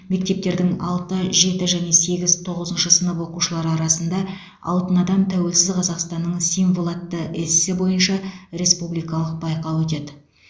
мектептердің алты жеті және сегіз тоғызыншы сынып оқушылары арасында алтын адам тәуелсіз қазақстанның символы атты эссе бойынша республикалық байқауы өтеді